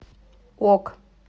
ок